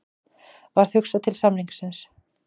Varð hugsað til samningsins.